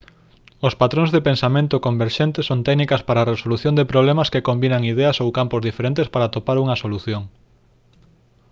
os patróns de pensamento converxente son técnicas para a resolución de problemas que combinan ideas ou campos diferentes para atopar unha solución